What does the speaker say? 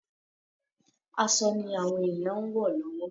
Aṣọ ni àwọn èyàn ń ewọ lọ́wọ́.